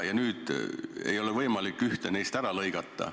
Ei ole võimalik ühte neist ära lõigata.